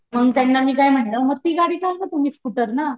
मग त्यांना मी काय म्हंटल मग ती गाडी ठेऊन जा तुम्ही स्कुटर ना